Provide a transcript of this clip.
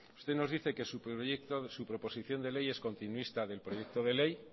usted nos dice que su proyecto su proposición de ley es continuista del proyecto de ley